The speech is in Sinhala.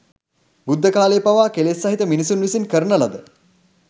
බුද්ධ කාලයේ පවා කෙලෙස් සහිත මිනිසුන් විසින් කරන ලද